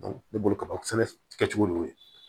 ne bolo kaba fɛnɛ kɛcogo y'o ye